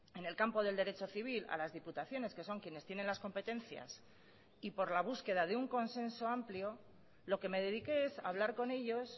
en el campo del derecho civil a las diputaciones que son quienes tienen las competencias y por la búsqueda de un consenso amplio lo que me dediqué es a hablar con ellos